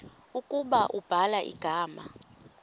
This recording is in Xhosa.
ukuba ubhala igama